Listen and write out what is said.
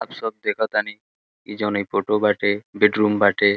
आप सब देखतानी ई जॉन ई फोटो बाटे बेडरूम बाटे।